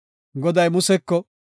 Goday Museko,